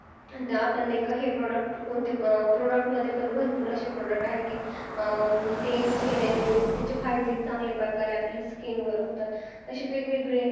आपण नाही का हे product मध्ये पण भरपूर असे product आहेत ते use केल्याने त्याचे फायदे चांगल्या प्रकारे आपल्या skin वर होतात असे वेगवेगळे